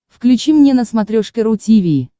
включи мне на смотрешке ру ти ви